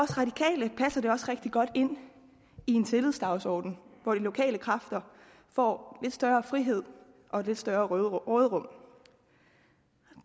for det også rigtig godt ind i en tillidsdagsorden hvor de lokale kræfter får lidt større frihed og lidt større råderum